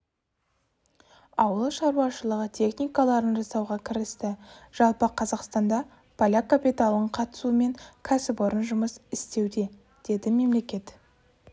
ауыл шаруашылығы техникаларын жасауға кірісті жалпы қазақстанда поляк капиталының қатысуымен кәсіпорн жұмыс істеуде деді мемлекет